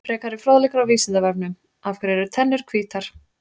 Frekari fróðleikur á Vísindavefnum: Af hverju eru tennur hvítar?